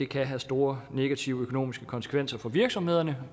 kan have store negative økonomiske konsekvenser for virksomhederne